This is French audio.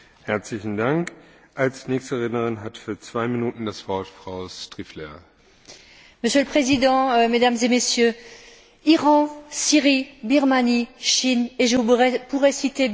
Monsieur le Président, Mesdames et Messieurs, Iran, Syrie, Birmanie, Chine et je pourrais citer bien d'autres pays où, aujourd'hui en 2013, les droits de l'homme sont encore bafoués et réprimés.